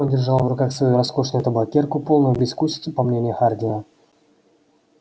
он держал в руках свою роскошную табакерку полную безвкусицу по мнению хардина